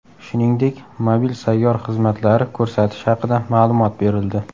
Shuningdek, mobil sayyor xizmatlari ko‘rsatish haqida ma’lumot berildi.